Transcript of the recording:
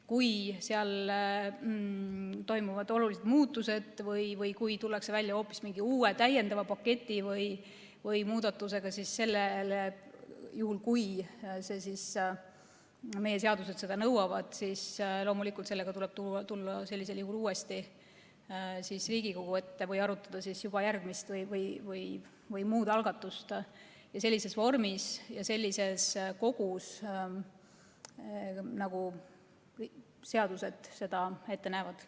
Kui seal toimuvad olulised muutused või kui tullakse välja hoopis mingi uue, täiendava paketi või muudatusega, siis juhul, kui meie seadused seda nõuavad, tuleb loomulikult sellega tulla uuesti Riigikogu ette või arutada juba järgmist või muud algatust sellises vormis ja sellises kogu, nagu seadused seda ette näevad.